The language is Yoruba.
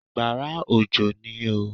Àgbàrá òjò ní oo.